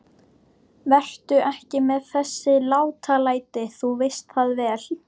Vertu ekki með þessi látalæti. þú veist það vel!